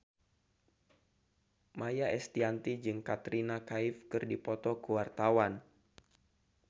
Maia Estianty jeung Katrina Kaif keur dipoto ku wartawan